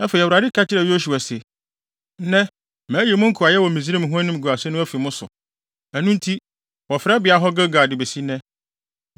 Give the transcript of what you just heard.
Afei, Awurade ka kyerɛɛ Yosua se, “Nnɛ mayi mo nkoayɛ wɔ Misraim ho animguase no afi mo so.” Ɛno nti, wɔfrɛ beae hɔ Gilgal de besi nnɛ.